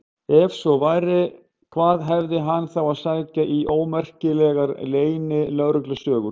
Ef svo væri, hvað hafði hann þá að sækja í ómerkilegar leynilögreglusögur?